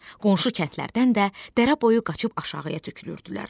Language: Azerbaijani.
Qonşu kəndlərdən də dərə boyu qaçıb aşağıya tökülürdülər.